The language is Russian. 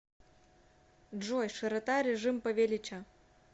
джой широта режим павелича